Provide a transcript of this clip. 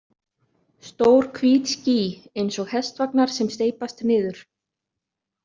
Stór hvít ský, eins og hestvagnar sem steypast niður.